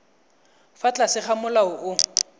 fa tlase ga molao o